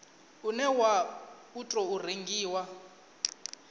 une wa u tou rengiwa